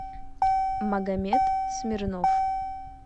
магомед смирнов